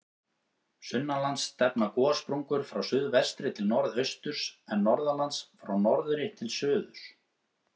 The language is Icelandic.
Sunnanlands stefna gossprungur frá suðvestri til norðausturs, en norðanlands frá norðri til suðurs.